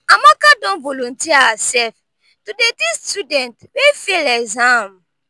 amaka don volunteer hersef to dey teach students wey fail exam.